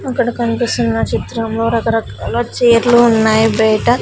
ఇక్కడ కన్పిస్తున్న చిత్రంలో రకరకాల చీర్లు ఉన్నాయి బైట.